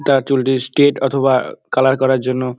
তার চুলটি স্ট্রেইট অথবা কালার করার জন্য--